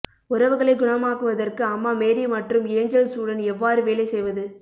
உறவுகளை குணமாக்குவதற்கு அம்மா மேரி மற்றும் ஏஞ்சல்ஸுடன் எவ்வாறு வேலை செய்வது